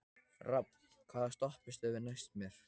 Rafn, hvaða stoppistöð er næst mér?